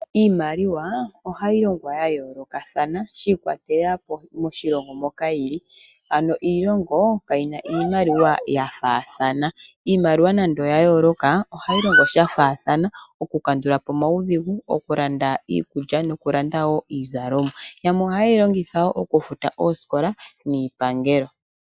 Iimaliwa ohayi longwa ya yoolokathana shi ikwatelela moshilongo moka yili. Ano iilongo kayi na iimaliwa ya faathana, iimaliwa nando oya yooloka, ohayi longo sha faathana okukandulapo omaudhigu, okulanda iikulya niizalomwa. Yamwe ohaye yilongitha wo okufuta oosikola niipangelo.